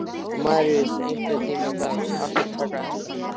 Maríus, einhvern tímann þarf allt að taka enda.